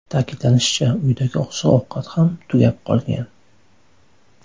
Ta’kidlanishicha, uydagi oziq-ovqat ham tugab qolgan.